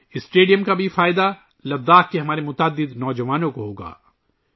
اس stadium سے لداخ میں ہمارے بہت سے نوجوانوں کو بھی فائدہ ہوگا